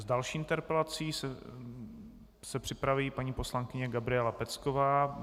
S další interpelací se připraví paní poslankyně Gabriela Pecková.